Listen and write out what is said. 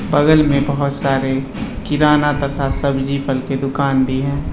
बगल में बहुत सारे किराना तथा सभी फल की दुकान भी है। बगल में बहुत सारे किराना तथा सभी फल की दुकान भी है।